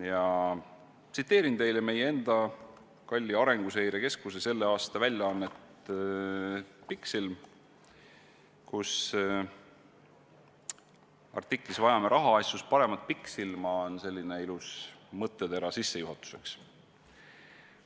Ma tsiteerin teile meie enda kalli Arenguseire Keskuse selle aasta väljaannet Pikksilm, kus artiklis "Vajame rahaasjus paremat pikksilma" on selline ilus mõttetera sissejuhatuseks: